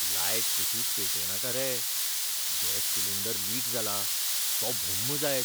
Light कशींच पेटयनाका रे, गॅस सिलिंडर लीक जाला, तो भुम्म जायत!